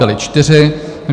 Byly čtyři.